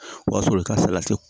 O y'a sɔrɔ i ka salati